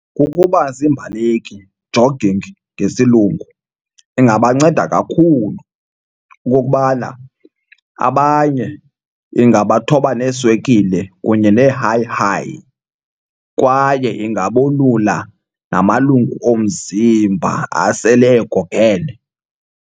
Ukuba ziimbaleki, jogging ngesilungu, ingabanceda kakhulu okokubana abanye ingabathoba neeswekile kunye nee-high high kwaye ingabolula namalungu omzimba asele egogene.